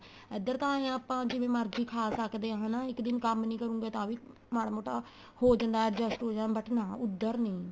ਇੱਧਰ ਤਾਂ ਆਪਾਂ ਜਿਵੇਂ ਮਰਜੀ ਖਾ ਸਕਦੇ ਆ ਹਨਾ ਇੱਕ ਦਿਨ ਕੰਮ ਨੀਂ ਕਰੋਗੇ ਤਾਂ ਵੀ ਮਾੜਾ ਮੋਟਾ ਹੋ ਜਾਂਦਾ adjust ਹੋ ਜਾਂਦਾ but ਨਾ ਉੱਧਰ ਨੀਂ